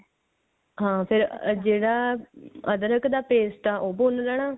ਹਾਂ ਫੇਰ ਜਿਹੜਾ ਅੱਦਰਕ ਦਾ paste ਹੈ ਉਹ ਭੁੰਨ ਲੇਣਾ